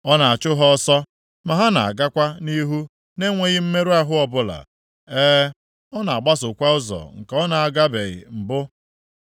Ọ na-achụ ha ọsọ, ma na-agakwa nʼihu na-enweghị mmerụ ahụ ọbụla. E, ọ na-agbasokwa ụzọ nke ọ na-agabeghị mbụ.